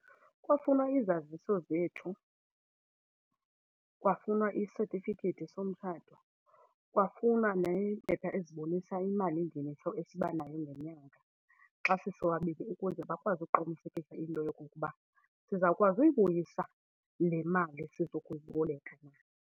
Kwafunwa izaziso zethu, kwafunwa isetifiketi somtshato, kwafunwa neempepha ezibonisa imalingeniso esibanayo ngenyanga xa sisobabini ukuze bakwazi ukuqinisekisa into yokokuba sizawukwazi uyibuyisa le mali sizokuyiboleka.